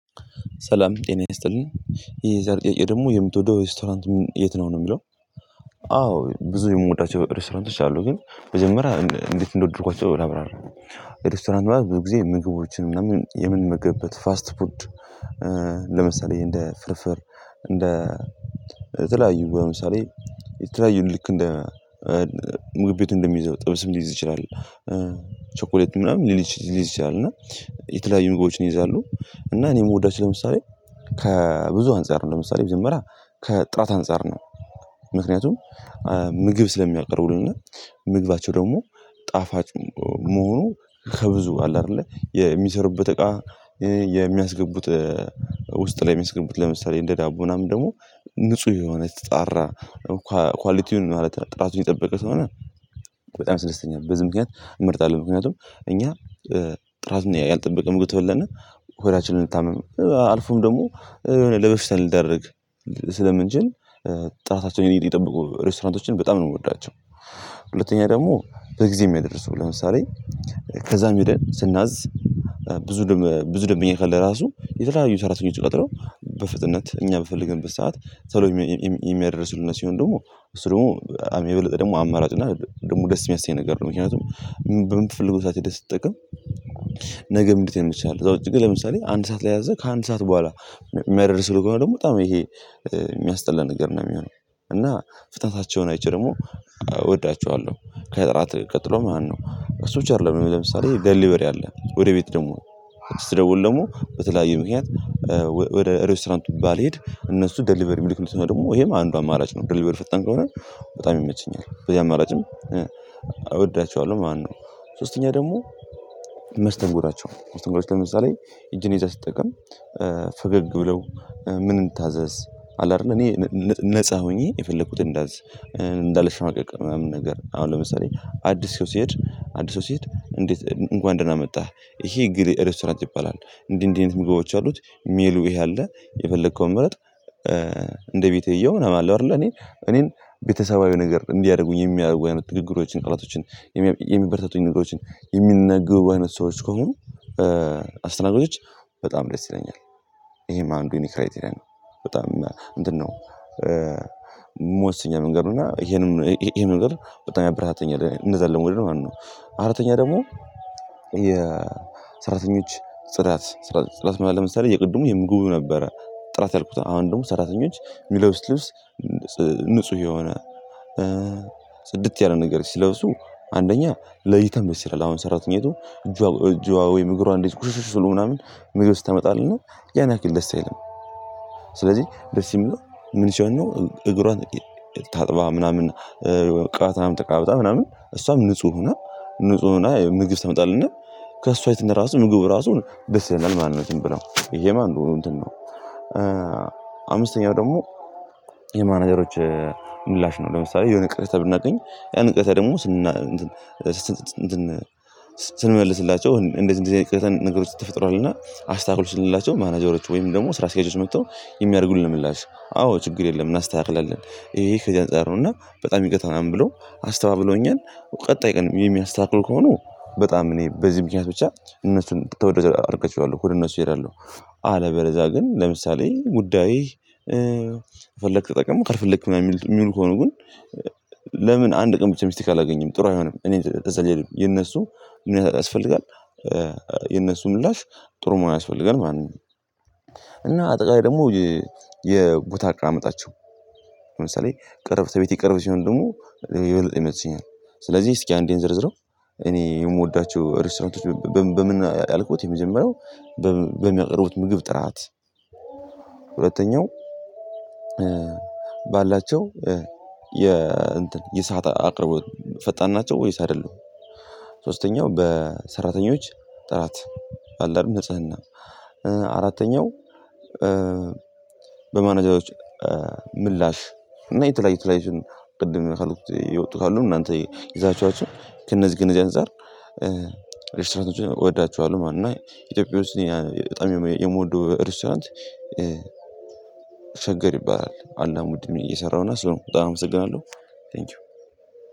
ሰላም ጤና ይስጥልኝ ይሄ የዛሬ ጥያቄ ደግሞ የምትወደው ሬስቶራንት የት ነው የሚለው? አዎ ብዙ የምወዳቸው ሬስቶራንት አሉ። ግን መጀመሪያ እንዴት እንደወደድኳቸው ላብራራ። ሬስቶራንት ብዙ ጊዜ ምግቦችን ምናምን የምንመገብበት ፋስት ፉድ። ለምሳሌ እንደ ፍርፍር እንደ የተለያዩ ለምሳሌ የተለያዩ ልክ እንደ ምግብ ቤት እንደሚይዘው ጥብስም ሊይዝ ይችላል። ቸኮሌቱ ምናምን ሊዝ ይችላል። እና የተለያዩ ነገሮችን ይይዛሉ። እና እኔ ምወዳቸው ለምሳሌ ከብዙ አንፃር ነው ለምሳሌ መጀመሪያ ከጥራት አንፃር ነው። ምክንያቱም ምግብ ስለሚያቀርቡልነ ምግባቸው ደግሞ ጣፋጭ መሆኑ ከብዙ አለ አይደለ የሚሰሩበት እቃ። የሚያስገቡት ውስጥ ላይ ሚያስገቡት ለምሳሌ እንደ ዳቦ ምናምን ደግሞ ንጹህ የሆነ የተጣራ ኳሊቲውን ማለት ጥራቱን የጠበቀ ስለሆነ። በጣም ያስደስተኛል በዝም ምክንያት እመርጣለሁ። ምክንያቱም እኛ ጥራት ያልጠበቀ ምግብ ተበላነ ሆዳችን ልንታመም አልፎም ደግሞ የሆነ ለበሽታ ልንዳረግ ስለምንችል ጥራታቸውን የጠብቁ ሬስቶራንቶችን በጣም ነው ምወዳቸው። ሁለተኛ ደግሞ በጊዜ ሚያደርሱው ለምሳሌ ከዛም ሄደን ስናዝ ብዙ ደምበኞ ካለ ራሱ የተለያዩ ሰራተኞችን ቀጥረው በፍጥነት እኛ በፈለግንበት ሰዓት ተሎ። የሚያደርሱልን ሲሆን ደሞ እሱ ደሞ የበለጠ ደሞ አማራጭ እና ደሞ ደስ የሚያሰኝ ነገር ነው። ምክንያቱም በምትፈልገው ሰዓት ሄደህ ስትጠቀም። ነገም እንዴት የምቻል ከዛ ውጭ ግን ለምሳሌ አንድ ሰዓት ላይ ኣዘህ ከአንድ ሰዓት በኋላ የሚያደርስልህ ከሆነ ደሞ በጣም ይሄ የሚያስጠላ ነገር ነው የሚሆነው። እና ፍታትሃቸውን አይቼ ደሞ እወዳቸዋለው። ከእራት ቀጥሎ ማለት ነው እሱ ብቻ አረለም ለምሳሌ ደሊበሪ አለ ወደ ቤት ደሞ ስደውል ደሞ በተለያዩ ምክንያት። ወደ ሬስቶራንቱ ባልሄድ እነሱ ዴሊቨሪ ሚሊክልህ ሰው ደሞ ይሄም አንዱ አማራጭ ነው ደልቨረ ፈጣን ከሆነ በጣም ይመቸኛል። በዚህ አማራጭም እወዳችዋለው ማለት ነው። ሶስተኛ ደሞ መስተንጎዳቸው መስተንጎዳቸው ለምሳሌ እጅን ይዛ ስትጠቀም ፈገግ ብለው ምን እንታዘዝ ኣለ አይደል እኔ ነፃ ሆኜ የፈለኩትን እንዳዝዝ። እንዳልሽማቀቅ ምናምን ነገር አሁን ለምሳሌ አዲስ ሰው ሲሄድ አዲስ ሰው ሲሄድ እንዴት እንኳን ደህና መጣህ። ይሄ እገሌ ሬስቶራንት ይባላል እንዲህ እንዲህ ምግቦች አሉት ሜሉ ይሄ አለ የፈለከውን ምረጥ። እንደ ቤተየው ነው የማለው አይደለ እኔ እኔን ቤተሰባዊ ነገር እንዲያደርጉ የሚያደርጉ የትግግሮችን ቃላቶችን የሚበርተቱኝ ንግግሮችን የሚነግቡ አይነት ሰዎች ከሆኑ አስተናጋጆች በጣም ደስ ይለኛል። እሄም አንዱ የኔ ክራይተሪያ ነው። በጣም እንትን ነው እምወስነው ነገር እና ይሄንን ይሄንን ነገር በጣም ያበረታተኛል እንደዛ ደሞ ማለት ነው። አራተኛ ደሞ የሰራተኞች ጽዳት ጽዳት ማለት ለምሳሌ የቅድሙ የምግቡ ነበረ ጥራት ያልኩት አሁን ደሞ ሰራተኞች ሚለብሱት ልብስ። ንጹህ የሆነ ጽድት ያለ ነገር ሲለብሱ አንደኛ ለእይታም ደስ ይላል አሁን ሰራተኛይቱ እጇ እጇ ወይም እግሯን እንደዚህ ቁሽሽሽ ብሎ ምናምን ምግብ ስታመጣልኝ ነው ያን ያክል ደስ አይልም። ስለዚህ ደስ የሚለው ምን ሲሆን ነው እግሯን ታጥባ ምናምን ቅባቷም ተቀባብታ ምናምን እሷም ንጹህ ሆና ንጹህ ሆና ምግብ ስታመጣልና። ከእሷነት ራሱ ምግቡ እራሱን ደስ ይላል ማለት ነው ብለው ይሄ ማለት እንትን ነው። አምስተኛው ደግሞ የማናጀሮች ምላሽ ነው ለምሳሌ የሆነ ቅሬታ ብናገኝ ያን ቅሬታ ደሞ ስንመልስላቸው እንደዚህ እንደዚህ አይነት ቅሬታን ነገሮች ተፈጥሯልና አስታካክሉ ስንላቸው ማናጀሮች ወይም ደሞ ስራ ኣስኪያጆች መጥተው የሚያረጉልን ምላሽ አዎ ችግር የለም እናስተካክላለን። ይሄ ከዚህ አንፃር ነው እና በጣም ይቅርታ ብሎ አስተባብሎኛል። ቀጣይ ቀን ሚያስተካክሉ ከሆኑ በጣም እኔ በዚህ ምክንያት ብቻ እነሱን ተወዳጅ አድርጌ እችላለው ሁሉም እነሱ እሄዳለውሁ። አለበለዝያ ግን ለምሳሌ ጉዳይ ከፈለክ ተጠቀሙ ካልፈለክ ምናምን የሚሉ ከሆነ ግን። ለምን አንድ ቀን ብቻ ሚስቴክ ኣላገኘም ጥሩ አይሆንም እኔ እፀልያለው የነሱ ምን ያስፈልጋል? የነሱ ምላሽ ጥሩ መሆን ያስፈልጋል ማለት ነው። እና አጠቃላይ ደሞ የቦታ አቀማመጣቸው ለምሳሌ ቅረብ ለቤቴ ቅርብ ሲሆን ደሞ የበለጠ ይመቸኛል ስለዚህ እስኪ አንዴን እንዘርዝረው። እኔ እምወዳቸው ሬስቶራንቶች በምን ያልኩት የመጀመሪያው በሚያቀርቡት ምግብ ጥራት። ሁለተኛው ባላቸው የሰዓት አቅርቦት ፈጣን ናቸው ወይስ አይደለሁም? ሶስተኛው በሰራተኞች ጥራት አለ ኣረል ንጽህና። አራተኛው በማኔጃዎች ምላሽ እና የተለያዩ የተለያዩትን ቅድም ካልኩት የወጡ ካሉም እናንተ ይዛችኋቸው ከእነዚ ከእነዚህ ኣንፃር። ሬስቶራንቶችን እወዳችኋለሁ ማለት ነው። እና ኢትዮጵያ ውስጥ በጣም የምወደው ሬስቶራንት። ሸገር ይባላል አዳም ወንድሜ የሰራውና ስራው በጣም አመሰግናለው።